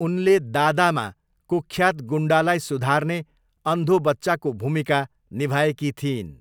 उनले दादामा कुख्यात गुन्डालाई सुधार्ने अन्धो बच्चाको भूमिका निभाएकी थिइन्।